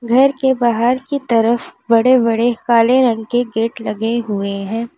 घर के बाहर की तरफ बड़े बड़े काले रंग के गेट लगे हुए हैं।